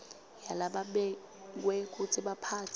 yalababekwe kutsi baphatse